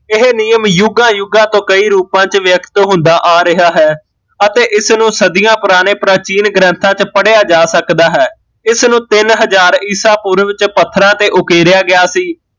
ਇਹ ਨਿਯਮ ਜੁਗਾਂ ਜੁਗਾਂ ਤੋਂ ਕਈ ਰੂਪਾਂ ਚ ਵਿਅਕਤ ਹੁੰਦਾ ਆ ਰਿਹਾ ਹੈ ਅਤੇ ਇਸਨੂ ਸਦੀਆ ਪੁਰਾਣੇ ਪ੍ਰਾਚੀਨ ਗ੍ਰੰਥਾਂ ਚ ਪੜਿਆ ਜਾ ਸਕਦਾ ਹੈ, ਇਸਨੂ ਤਿੰਨ ਹਜ਼ਾਰ ਈਸਾ ਪੂਰਵ ਚ ਪੱਥਰਾਂ ਤੇ ਉਕੇਰਿਆ ਗਿਆ ਸੀ